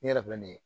Ne yɛrɛ filɛ nin ye